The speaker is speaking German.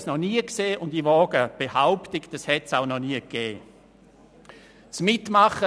Ich habe dies noch nie gesehen, und ich wage zu behaupten, dass es dies auch noch nie gegeben hat.